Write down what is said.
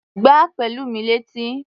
Gbá Pẹ̀lúmi létí!